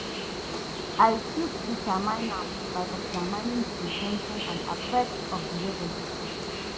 I fit determine am by examining di in ten tion and affect of di regulation.